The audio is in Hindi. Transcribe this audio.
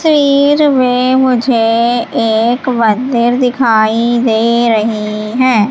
स्वीर में मुझे एक मंदिर दिखाई दे रही हैं।